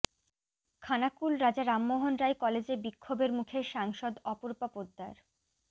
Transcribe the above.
খানাকুল রাজা রামমোহন রায় কলেজে বিক্ষোভের মুখে সাংসদ অপরূপা পোদ্দার